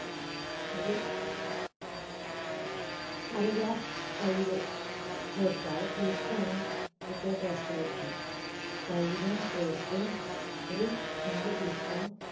ഒരു അര glass തൈര് ചേർക്കുക. അത് പുളിക്കാണ് പ്രത്യേക taste ആയിരിക്കും. തൈരും ചേർത്ത് ഒരു നാല് tea spoon